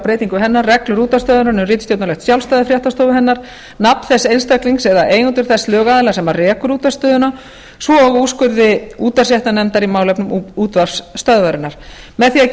breytingu hennar reglur útvarpsstöðvarinnar um ritstjórnarlegt sjálfstæði fréttastofu hennar nafn þess einstaklings eða eigendur þess lögaðila sem rekur útvarpsstöðina svo og úrskurði útvarpsréttarnefndar í málefnum útvarpsstöðvarinnar með því að